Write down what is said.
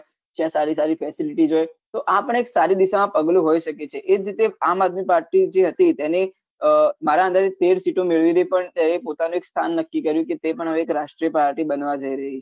ત્યાં સારી સારી facilities હોય તો આપણ એક સારી દિશામાં પગલું હોઈ શકે છે એજ રીતે જે આમઆદમી party જે હતી તેને મારા અંદાજે તેર સીટો મેળવી હતી પણ તેને પોતાનો એક સ્થાન નક્કી કર્યું કે તે પણ હવે રાષ્ટ્રીય party બનવા જઈ રહી છે